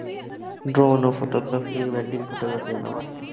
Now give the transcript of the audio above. Drone photography, wedding photography ಎಲ್ಲ ಮಾಡ್ತೇನೆ.